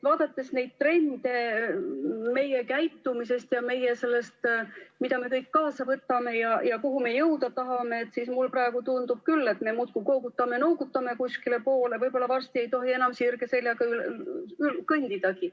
Vaadates neid trende meie käitumises ja seda, mida me kõik kaasa võtame ja kuhu me jõuda tahame, siis mulle praegu tundub küll, et me muudkui koogutame-noogutame kuskile poole, võib-olla varsti ei tohi enam sirge seljaga kõndidagi.